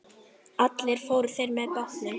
Allir fóru þeir með bátnum.